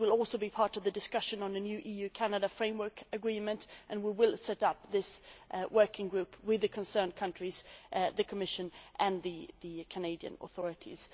It will also be part of the discussion on a new EU Canada framework agreement, and we will set up a working group with the countries concerned, the Commission and the Canadian authorities.